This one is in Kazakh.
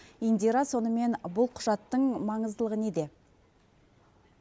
индира сонымен бұл құжаттың маңыздылығы неде